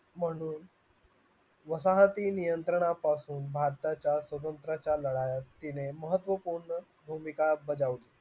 म्हणून वजाहती नियंत्रणापासून भारताच्या तिने महत्त्वपूर्ण भूमिका बजावली